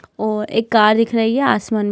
और एक कार दिख रही है आसमान--